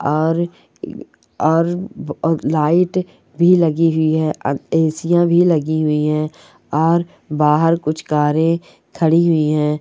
और और व और लाइट भी लगी हुई हैं। अ ए_सी यां भी लगी हुई है और बाहर कुछ कारें खड़ी हुई हैं।